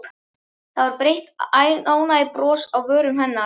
Það var breitt ánægjubros á vörum hennar.